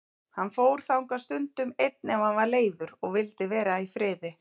Hann fór þangað stundum einn ef hann var leiður og vildi vera í friði.